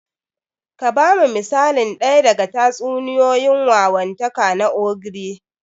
Ka ba mu misali ɗaya na tatsuniyoyin wawantaka na ogre.